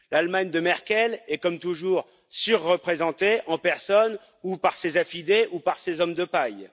L'Allemagne de Merkel est, comme toujours, surreprésentée, en personne, ou par ses affidés ou par ses hommes de paille.